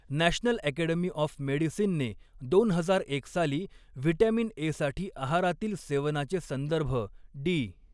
National Academy of मेडिसिनने दोन हजार एक साली व्हिटॅमिन ए साठी आहारातील सेवनाचे संदर्भ डी.